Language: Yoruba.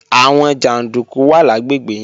Àwọn jàndúkú wà lágbègbè yẹn